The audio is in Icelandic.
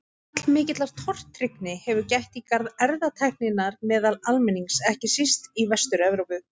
Allmikillar tortryggni hefur gætt í garð erfðatækninnar meðal almennings, ekki síst í Vestur-Evrópu.